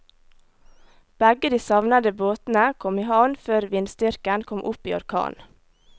Begge de savnede båtene kom i havn før vindstyrken kom opp i orkan.